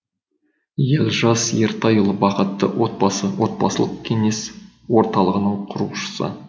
елжас ертайұлы бақытты отбасы отбасылық кеңес орталығының құрушысы